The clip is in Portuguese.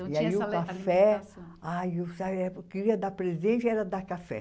E aí o café. Ah, queria dar presente, era dar café.